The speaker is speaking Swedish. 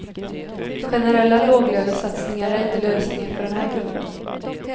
Generella låglönesatsningar är inte lösningen för den här gruppen.